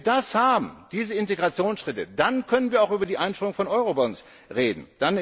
Wenn wir diese Integrationsschritte haben, dann können wir auch über die Einführung von Eurobonds reden.